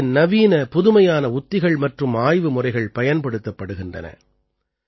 இதிலே நவீன புதுமையான உத்திகள் மற்றும் ஆய்வுமுறைகள் பயன்படுத்தப்படுகின்றன